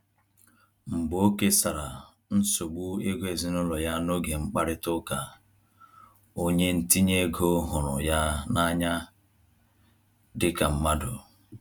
Mgbe o kesara nsogbu ego ezinụlọ ya n'oge mkparịta ụka, onye ntinye ego hụrụ ya n’anya dịka mmadụ.